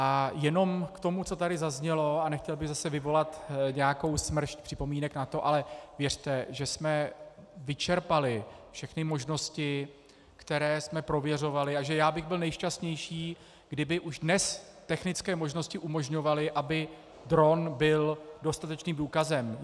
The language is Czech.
A jenom k tomu, co tady zaznělo, a nechtěl bych zase vyvolat nějakou smršť připomínek na to, ale věřte, že jsme vyčerpali všechny možnosti, které jsme prověřovali, a že já bych byl nejšťastnější, kdyby už dnes technické možnosti umožňovaly, aby dron byl dostatečným důkazem.